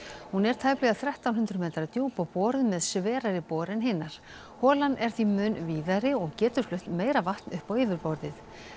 hún er tæplega þrettán hundruð metra djúp og boruð með sverari bor en hinar holan er því mun víðari og getur flutt meira vatn upp á yfirborðið